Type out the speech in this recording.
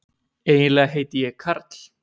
Eiginlega heiti ég Karl.